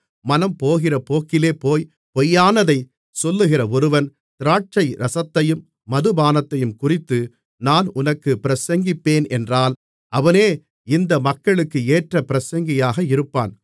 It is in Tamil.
மனம்போகிற போக்கிலே போய் பொய்யானதைச் சொல்லுகிற ஒருவன் திராட்சைரசத்தையும் மதுபானத்தையும் குறித்து நான் உனக்குப் பிரசங்கிப்பேனென்றால் அவனே இந்த மக்களுக்கு ஏற்ற பிரசங்கியாக இருப்பான்